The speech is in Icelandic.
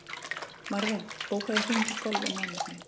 Marvin, bókaðu hring í golf á mánudaginn.